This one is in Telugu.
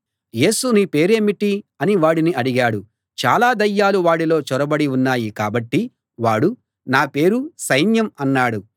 యేసు నీ పేరు ఏమిటి అని వాడిని అడిగాడు చాలా దయ్యాలు వాడిలో చొరబడి ఉన్నాయి కాబట్టి వాడు నా పేరు సైన్యం అన్నాడు